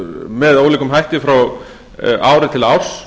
með ólíkum hætti frá ári til árs